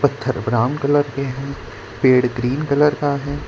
पत्थर brown colour के हैं पेड़ ग्रीन कलर का है।